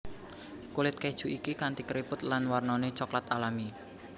Kulit keju iki kanti keriput lan warnané coklat alami